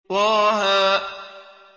طه